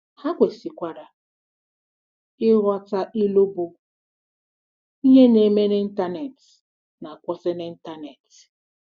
Ha kwesịkwara ịghọta ilu bụ́, Ihe na-eme n'Ịntanet na-akwusi n'Ịntanet